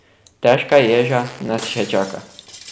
Težka ježa nas še čaka.